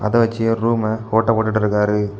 அத வச்சு ஒரு ரூம்ம ஓட்ட போட்டுட்டுருக்காரு.